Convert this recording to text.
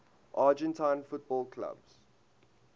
argentine football clubs